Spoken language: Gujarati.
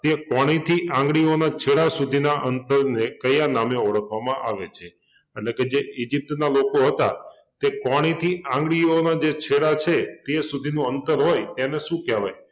કે કોણી થી આંગળીઓના છેડા સુધીના અંતરને કયા નામે ઓળખવામાં આવે છે? એટલે કે જે ઇજિપ્તના લોકો હતા તે કોણીથી આંગળીઓનો જે છેડા છે તે સુધીનો અંતર હોય તેને શું કહેવાય?